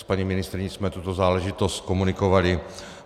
S paní ministryní jsme tuto záležitost komunikovali.